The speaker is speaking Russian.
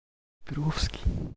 петровский